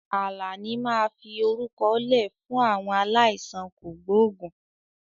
Àlàní máa fi orúkọ lẹ fún àwọn aláìsàn kògbógùn